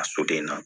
A soden na